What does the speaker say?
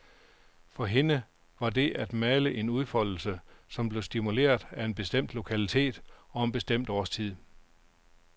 For hende var det at male en udfoldelse, som blev stimuleret af en bestemt lokalitet og en bestemt årstid.